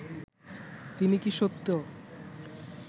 তিনি কি সত্য